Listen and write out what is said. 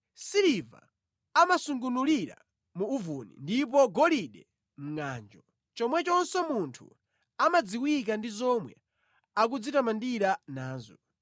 Siliva amasungunulira mu uvuni ndipo golide mʼngʼanjo, chomwechonso munthu amadziwika ndi zomwe akudzitamandira nazo.